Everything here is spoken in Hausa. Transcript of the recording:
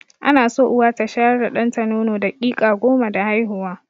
Ana so Uwa ta shayar da ɗanta nono daƙiƙa goma da haihuwa.